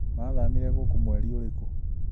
Mathamire gũkũ mweri ũrikũ?